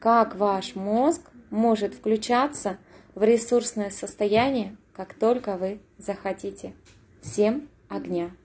как ваш мозг может включаться в ресурсное состояние как только вы захотите всем огня